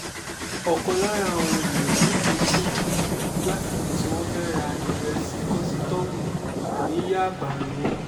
ọ̀kan lára àwọn èèyàn méje tí wọ́n kú lásìkò tí wọ́n fẹ́ẹ́ ra ìrẹsì kọ́sítọ́ọ̀mù ní yábà ni wọ́n